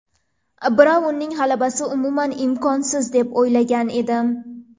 Braunning g‘alabasi umuman imkonsiz deb o‘ylagan edim.